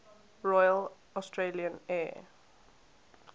royal australian air